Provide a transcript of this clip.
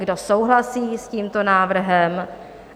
Kdo souhlasí s tímto návrhem?